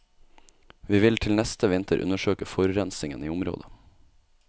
Vi vil til neste vinter undersøke forurensingen i området.